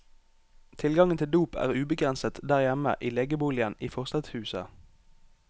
Tilgangen til dop er ubegrenset der hjemme i legeboligen i forstadshuset.